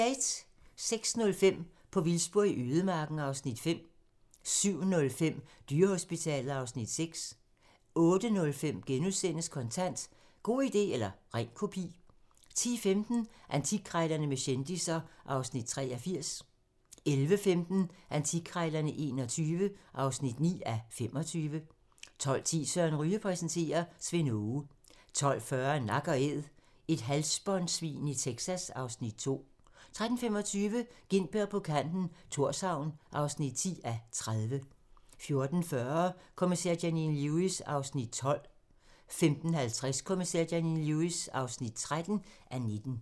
06:05: På vildspor i ødemarken (Afs. 5) 07:05: Dyrehospitalet (Afs. 6) 08:05: Kontant: God idé eller ren kopi * 10:15: Antikkrejlerne med kendisser (Afs. 83) 11:15: Antikkrejlerne XXI (9:25) 12:10: Søren Ryge præsenterer: Svend Aage 12:40: Nak & æd - et halsbåndsvin i Texas (Afs. 2) 13:25: Gintberg på kanten - Thorshavn (10:30) 14:40: Kommissær Janine Lewis (12:19) 15:50: Kommissær Janine Lewis (13:19)